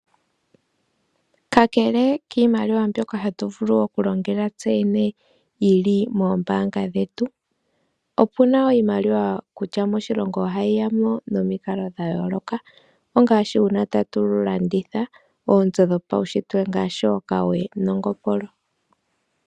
Kakele kiimaliwa mbyoka hatu vulu okulongela tseyene yili moombaanga dhetu, opuna wo iimaliwa kutya moshilongo ohayi yamo nomikalo dhayooloka, ongaashi uuna tatu landitha oonzo dhopawushitwe ngaashi okawe nongopolo.